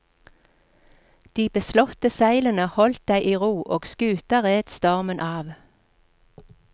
De beslåtte seilene holdt deg i ro, og skuta red stormen av.